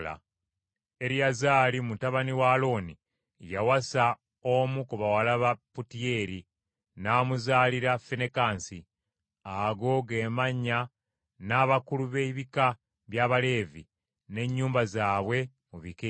Eriyazaali, mutabani wa Alooni, yawasa omu ku bawala ba Putiyeeri, n’amuzaalira Finekaasi. Ago ge mannya g’abakulu b’ebika by’Abaleevi, n’ennyumba zaabwe mu bika ebyo.